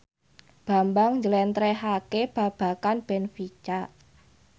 Bambang njlentrehake babagan benfica